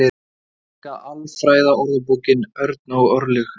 Íslenska Alfræðiorðabókin, Örn og Örlygur.